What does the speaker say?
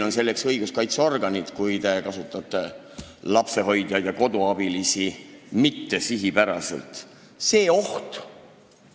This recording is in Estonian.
Kui te kasutate lapsehoidjaid ja koduabilisi mittesihipäraselt, siis meil on selleks õiguskaitseorganid.